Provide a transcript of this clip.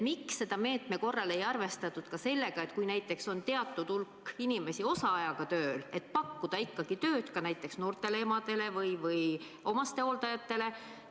Miks selle meetme korral ei arvestatud sellega, et kui on teatud hulk inimesi osaajaga tööl, siis pakkuda ikkagi tööd ka näiteks noortele emadele või omastehooldajatele?